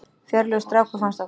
Fjörlegur strákur, fannst okkur.